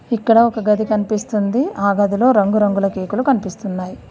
ఇక్కడ ఒక గది కనిపిస్తుంది ఆ గదిలో రంగురంగుల కేకులు కనిపిస్తున్నాయి.